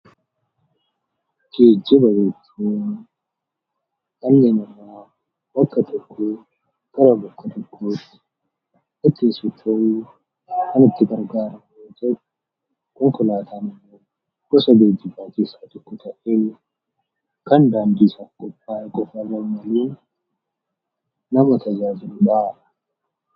Geejjiba jechuun dhalli namaa bakka tokkoo gara bakka tokkootti ittiin socho'uuf kan itti gargaaramu yoo ta'u, konkolaataan immoo gosa geejjibaa keessaa ta'ee kan daandii irra adeemuun nama tajaajiludha.